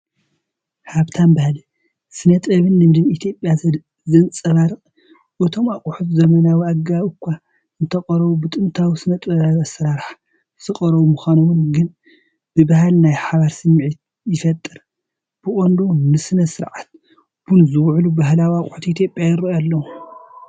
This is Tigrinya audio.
ሃብታም ባህሊ፡ ስነ-ጥበብን ልምድን ኢትዮጵያ ዘንጸባርቕ ፣እቶም ኣቑሑት ብዘመናዊ ኣገባብ እኳ እንተቐረቡ፡ ብጥንታዊ ስነ-ጥበባዊ ስርሓት ዝቐርቡ ምዃኖም ግን ብባህሊ ናይ ሓበን ስምዒት ይፈጥር። ብቐንዱ ንስነ-ስርዓት ቡን ዝውዕሉ ባህላዊ ኣቑሑት ኢትዮጵያ ይረኣዩ ኣለው።